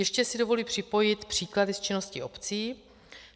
Ještě si dovoluji připojit příklady z činnosti obcí.